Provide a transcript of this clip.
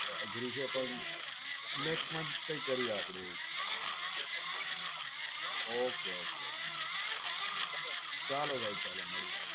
next month આપણે કઈક કરીયે okay okay ચાલો ભાઈ ચાલો મળીયે.